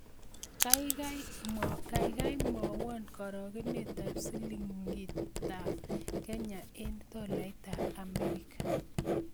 Kaigai mwawon karogenetap silingiitap Kenya eng' tolaitap Amerika